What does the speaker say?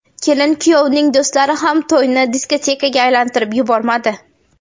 Kelin-kuyovning do‘stlari ham to‘yni diskotekaga aylantirib yubormadi.